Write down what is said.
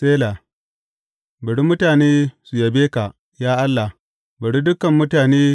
Sela Bari mutane su yabe ka, ya Allah; bari dukan mutane su yabe.